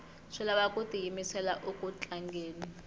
swi lava ku tiyimisela uku tlangeni